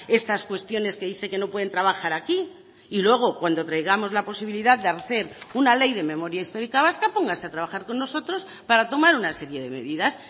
estas cuestiones que dice que no pueden trabajar aquí y luego cuando traigamos la posibilidad de hacer una ley de memoria histórica vasca póngase a trabajar con nosotros para tomar una serie de medidas